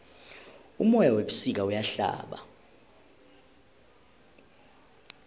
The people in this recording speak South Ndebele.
umoya webusika uyahlaba